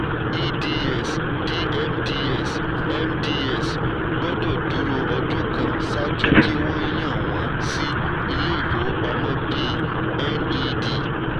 eds dmds mds gbọ́dọ̀ dúró ọdún kan ṣáájú kí wọn yàn wọn sí ilé ìfowópamọ́ bí ned.